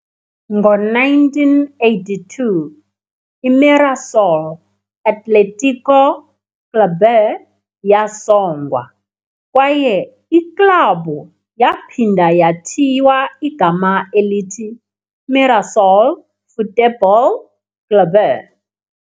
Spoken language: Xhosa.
Ngo-1982, i-Mirassol Atlético Clube yasongwa, kwaye iklabhu yaphinda yathiywa igama elithi Mirassol Futebol Clube.